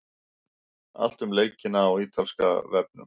Allt um leikina í Ítalska í dag.